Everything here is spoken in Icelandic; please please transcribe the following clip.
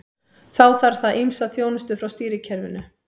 Þá þarf það ýmsa þjónustu frá stýrikerfinu.